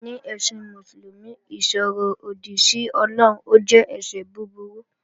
Ní ẹ̀sìn Mùsùlùmí, ìsọ̀ròdì sí Ọlọ́run jẹ́ ẹ̀ṣẹ̀ búburú